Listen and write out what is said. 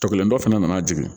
Tɔkɔlen dɔ fana nana jigin